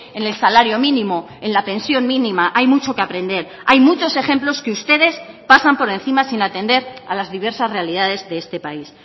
en el salario mínimo en la pensión mínima hay mucho que aprender hay muchos ejemplos que ustedes pasan por encima sin atender a las diversas realidades de este país